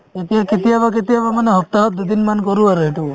কেতিয়াবা কেতিয়াবা মানে সপ্তাহত দুদিন মান কৰো আৰু এইটো